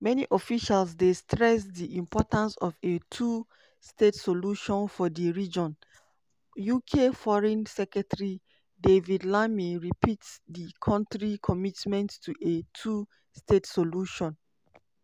many officials dey stress di importance of a two-state solution for di region: ukforeign secretary david lammy repeat di country commitment to a two-state solution.